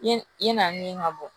Yen i na min ka bɔ